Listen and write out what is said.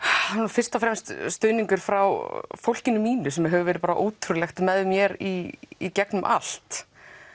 fyrst og fremst stuðningur frá fólkinu mínu sem hefur verið bara ótrúlegt með mér í gegnum allt